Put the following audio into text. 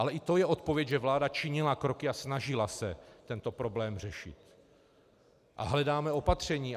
Ale i to je odpověď, že vláda činila kroky a snažila se tento problém řešit a hledá opatření.